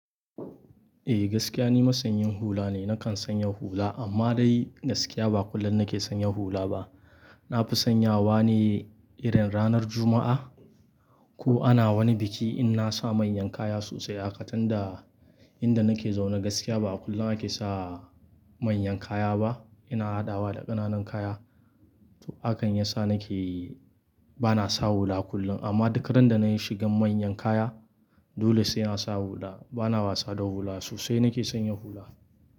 Eh, gaskiya ni masanyin hula ne. Nakan sanya hula amma dai gaskiya ba kullum nake sanya hula ba. Na fi sanyawa ne irin ranar Juma'a ko ana wani biki in na sa manyan kaya sosai haka tunda. Inda nake zaune gaskiya ba kullum ake sa manyan kaya ba. Ina haɗawa da ƙananan kaya. To hakan yasa nake ba na sa hula kullum amma duk ran da na yi shigan manyan kaya dole sai na sa hula. Ba na wasa da hula sosai nake sanya hula.